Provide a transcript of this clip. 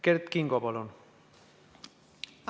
Kert Kingo, palun!